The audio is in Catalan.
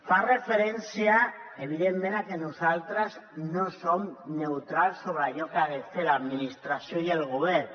fa referència evidentment a que nosaltres no som neutrals sobre allò que han de fer l’administració i el govern